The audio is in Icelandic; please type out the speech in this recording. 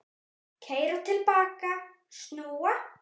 Keyra til baka, snúa.